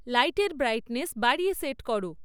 লাইটের ব্রাইটনেস বাড়িয়ে সেট করো